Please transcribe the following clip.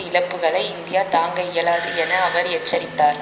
இழப்புக்களை India தாங்க இயலாது என அவர் எச்சரித்தார்